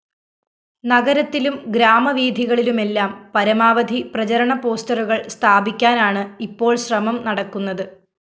നഗരത്തിലും ഗ്രാമവീഥികളിലുംമെല്ലാം പരമാവധി പ്രചരണ പോസ്റ്ററുകള്‍ സ്ഥാപിക്കാനാണ് ഇപ്പോള്‍ശ്രമം നടക്കുന്നത്